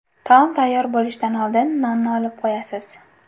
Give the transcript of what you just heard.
Taom tayyor bo‘lishdan oldin nonni olib qo‘yasiz.